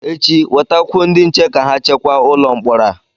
echi, wetakwuo ndị nche ka ha chekwa ụlọ mkpọrọ a!